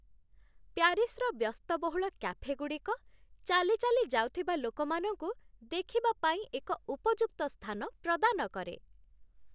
ପ୍ୟାରିସ୍‌ର ବ୍ୟସ୍ତବହୁଳ କାଫେଗୁଡ଼ିକ ଚାଲିଚାଲି ଯାଉଥିବା ଲୋକମାନଙ୍କୁ ଦେଖିବା ପାଇଁ ଏକ ଉପଯୁକ୍ତ ସ୍ଥାନ ପ୍ରଦାନ କରେ